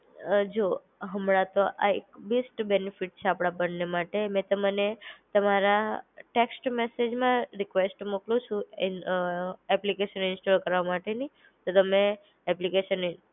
અ જો હમણાંતો આ એક બેસ્ટ બેનેફિટ છે આપડા બને માટે, ને તમને તમારા ટેક્સ્ટ મેસેજમાં રિક્વેસ્ટ મોકલું છુ, એન અ એપ્લિકેશન ઇન્સ્ટોલ કરવા માટેની. તો તમે એપ્લિકેશન